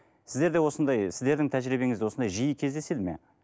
сіздерде осындай сіздердің тәжірибеңізде осындай жиі кездеседі ме